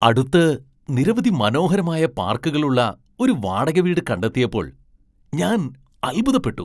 അടുത്ത് നിരവധി മനോഹരമായ പാർക്കുകളുള്ള ഒരു ഒരു വാടക വീട് കണ്ടെത്തിയപ്പോൾ ഞാൻ അത്ഭുതപ്പെട്ടു.